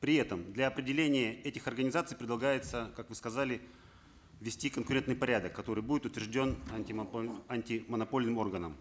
при этом для определения этих организаций предлагается как вы сказали ввести конкурентный порядок который будет утвержден антимонопольным органом